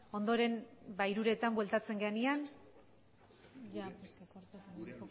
ondoren ba hiruretan bueltatzen garenean